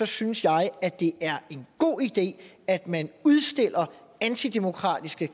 synes jeg at det er en god idé at man udstiller antidemokratiske